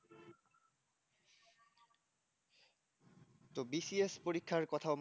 তো B C S পরীক্ষার কথা